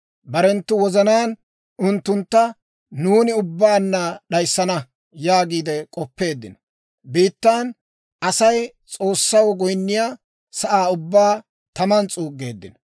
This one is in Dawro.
Barenttu wozanaan, «Unttuntta nuuni, ubbaanna d'ayssana» yaagiide k'oppeeddino. Biittan Asay S'oossaw goyinniyaa sa'aa ubbaa taman s'uuggeeddino.